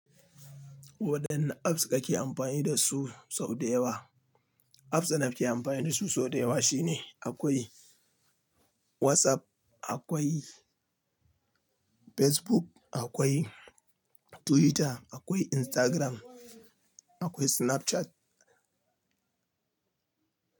Waɗanne apps ka ke amfani da su sau da yawa? Apps da na ke amfani da su sau da yawa shine akwai WhatsApp, akwai Facebook, akwai Twitter, akwai Instagram, akwai Snapchat.